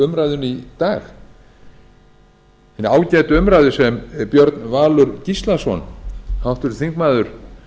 umræðunni í dag hinni ágætu umræðu sem björn valur gíslason háttvirtur þingmaður